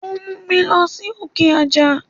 Ó múmi lọ sókè àjà.